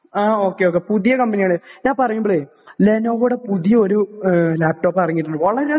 ആ okay okay പുതിയ കമ്പനികൾ. ഞാൻ പറയുമ്പോഴേ ലെനോവോയുടെ പുതിയ ഒരു ലാപ്ടോപ്പ് ഇറങ്ങിയിട്ടുണ്ട്. വളരെയധികം